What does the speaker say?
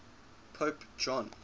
pope john